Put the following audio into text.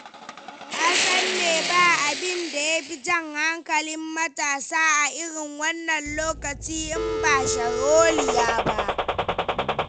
Ka san me ba abinda ya fi jan hankali matasa a irin wannan lokaci in ba sharholiya ba.